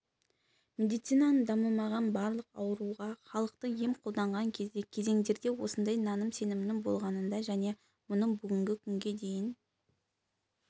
медицинаның дамымаған барлық ауруға халықтық ем қолданған ерте кезеңдерде осындай наным-сенімнің болғанында және мұның бүгінгі күнге дейін